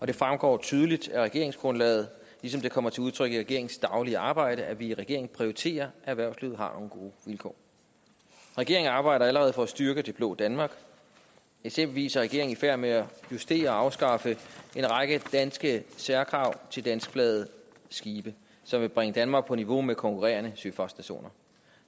det fremgår tydeligt af regeringsgrundlaget ligesom det kommer til udtryk i regeringens daglige arbejde at vi i regeringen prioriterer at erhvervslivet har nogle gode vilkår regeringen arbejder allerede for at styrke det blå danmark eksempelvis er regeringen i færd med at justere og afskaffe en række danske særkrav til danskflagede skibe som vil bringe danmark på niveau med konkurrerende søfartsnationer